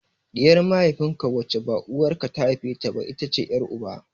Ɗiyar mahaifin ka wacce ba uwar ka ce ta haife ta ba, ita ce ƴar uba.